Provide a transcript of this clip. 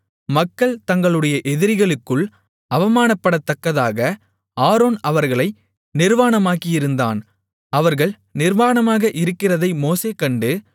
மக்கள் தங்களுடைய எதிரிகளுக்குள் அவமானப்படத்தக்கதாக ஆரோன் அவர்களை நிர்வாணமாக்கியிருந்தான் அவர்கள் நிர்வாணமாக இருக்கிறதை மோசே கண்டு